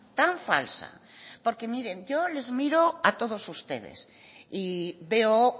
tan falsa porque miren yo les miro a todos ustedes y veo